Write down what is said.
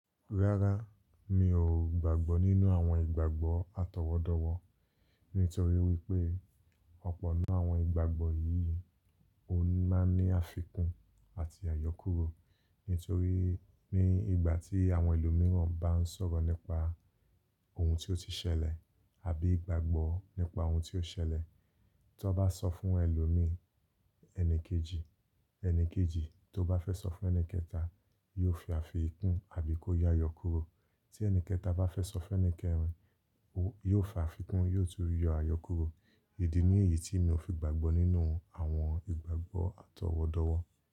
Rárá, mi ò gbàgbọ́ nínú àwọn ìgbàgbọ́ atọwọdọwọ, nítorí wípé ọ̀pọ̀ n nú àwọn ìgbàgbọ́ yìí ó máa ń ní àfikún àti àyọkúrò. Nítorí ní ìgbà tí àwọn ẹlòmíràn bá ń sọ̀rọ̀ nípa ohun tí ó ti ṣẹlẹ̀ àbí ìgbàgbọ́ nípa ohun tí ó ṣẹlẹ̀, tan bá sọ fún ẹlòmíì ẹni kejì, ẹni kejì tó bá fẹ́ sọ fún ẹni kẹta yóò fi àfikún àbí kó yọ àyọkúrò. Tí ẹni kẹta bá fẹ́ sọ fún ẹni kẹrin, ó yóò fi àfikún yóò tún yọ àyọkúrò. Idi niyi tí mi ò fi gbàgbọ́ nínú àwọn ìgbàgbọ́ atọwọdọwọ.